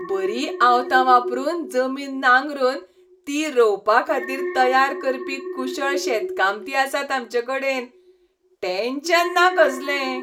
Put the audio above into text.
बरीं आवतां वापरून जमीन नांगरून ती रोंवपाखातीर तयार करपी कुशळ शेताकामती आसात आमचेकडेन. टॅन्शन ना कसलें.